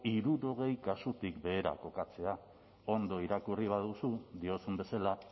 hirurogei kasutik behera kokatzea ondo irakurri baduzu diozun bezala